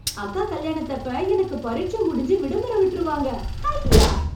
அக்கா கல்யாணத்தப்ப எனக்கு பரீட்சை முடிஞ்சு விடுமுறை விட்ருவாங்க.. ஹைய்யா!